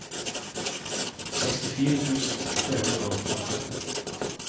sekstifire tusen tre hundre og femtito